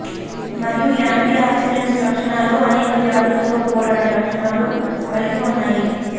మరియు antioxidants లక్షణాలు అనేక వ్యాధులతో పోరాడే లక్షణాలు కలిగి ఉన్నాయి